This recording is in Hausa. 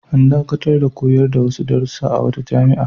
An dakatar da koyar da wasu darussa a wata jami'a.